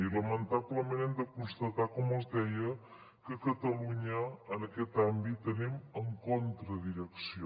i lamentablement hem de constatar com els deia que a catalunya en aquest àmbit anem contra direcció